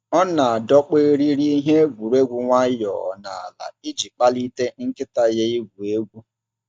Ọ na-adọkpụ eriri ihe egwuregwu nwayọọ n’ala iji kpalite nkịta ya igwu egwu.